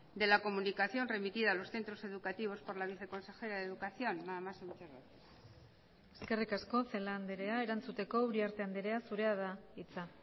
de la comunicación remitida a los centros educativos por la viceconsejera de educación nada más y muchas gracias eskerrik asko celaá andrea erantzuteko uriarte andrea zurea da hitza